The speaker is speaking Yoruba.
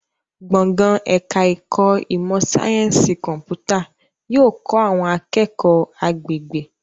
Gbọ̀ngàn ẹ̀ka ẹ̀kọ́ ìmọ̀ sáyẹ́nsì kọ̀m̀pútà yóò kọ́ àwọn akẹ́kọ̀ọ́ agbègbè